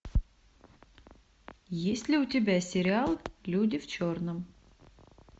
есть ли у тебя сериал люди в черном